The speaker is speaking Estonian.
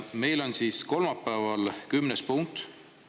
Meil on siis kolmapäeval kümnes punkt.